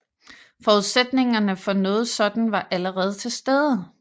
Forudsætningerne for noget sådan var allerede til stede